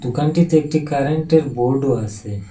দোকানটিতে একটি কারেন্টের বোর্ডও আসে ।